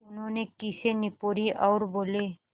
उन्होंने खीसें निपोरीं और बोले